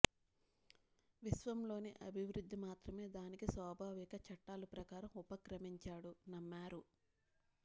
విశ్వంలోని అభివృద్ధి మాత్రమే దానికి స్వాభావిక చట్టాలు ప్రకారం ఉపక్రమించాడు నమ్మారు